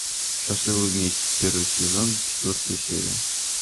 счастливы вместе первый сезон четвертая серия